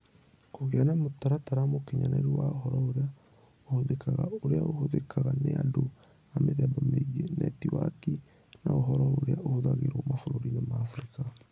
Kũgĩa na mũtaratara mũkinyanĩru wa ũhoro ũrĩa ũhũthĩkaga, ũrĩa ũhũthĩkaga nĩ andũ a mĩthemba mĩingĩ, netiwaki, na ũhoro ũrĩa ũhũthagĩrwo mabũrũriinĩ ma Afrika.